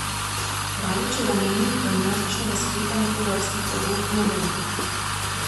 Kraljićeva meni, da množičnega sklepanja tovrstnih pogodb ne bo.